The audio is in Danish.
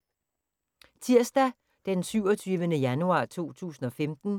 Tirsdag d. 27. januar 2015